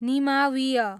निमावीय